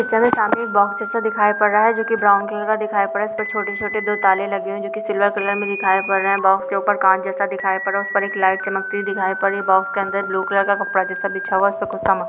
सामने एक बॉक्स जैसा दिखाई पड़ रहा है जो कि ब्राउन कलर का दिखाई पड़ रहा है उस पे छोटे छोटे दो ताले लगे हुए है जो कि सिल्वर कलर में दिखाई पड़ रहे है बॉक्स के ऊपर कांच जैसा दिखाई पड़ रहा है उस पर एक लाइट चमकती हुई दिखाई पड़ रही है बॉक्स के अंदर ब्लू कलर का कपड़ा जैसा बिछा हुआ है उस पर कुछ सामान --